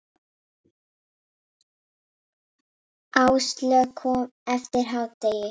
Áslaug kom eftir hádegi.